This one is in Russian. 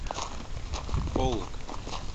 полог